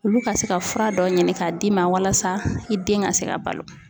Olu ka se ka fura dɔ ɲini k'a d'i ma walasa i den ka se ka balo.